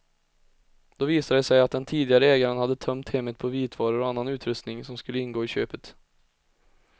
Då visade det sig att den tidigare ägaren hade tömt hemmet på vitvaror och annan utrustning som skulle ingå i köpet.